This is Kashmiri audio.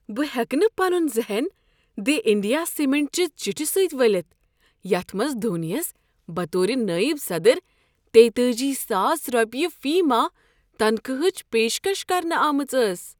بہٕ ہیٚکہٕ نہٕ پنن ذہن دی انڈیا سیمنٹ چہِ چٹھہِ سۭتۍ ولِتھ یتھ منز دھونی یَس بطور نائب صدر تیتأجی ساس روپیہِ فی ماہ تنخواہٕچ پیشکش کرنہٕ آمٕژ ٲس